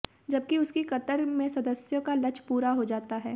जब उसकी कतार में सदस्यों का लक्ष्य पूरा हो जाता है